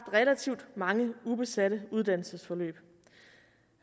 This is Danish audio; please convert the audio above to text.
relativt mange ubesatte uddannelsesforløb